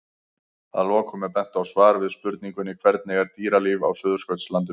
Að lokum er bent á svar við spurningunni Hvernig er dýralíf á Suðurskautslandinu?